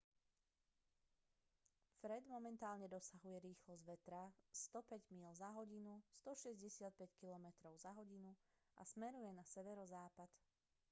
fred momentálne dosahuje rýchlosť vetra 105 míľ za hodinu 165 km/h a smeruje na severozápad